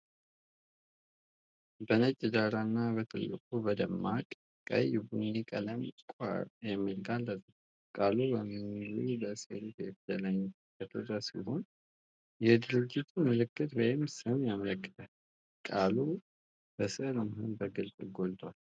በነጭ ዳራ ላይ በትልቁ፣ በደማቅ ቀይ-ቡኒ ቀለም "Quora" የሚለው ቃል ተጽፏል። ቃሉ በሙሉ በሴሪፍ የፊደል አይነት የተቀረፀ ሲሆን የድርጅት ምልክት ወይም ስም ያመለክታል። ቃሉ በስዕሉ መሃል ላይ በግልጽ ጎልቷል።